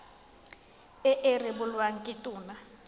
e e rebolwang ke tona